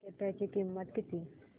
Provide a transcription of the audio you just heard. तिकीटाची किंमत किती